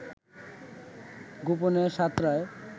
গোপনে সাঁতরায়